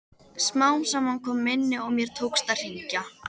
Smám saman kom minnið og mér tókst að hringja.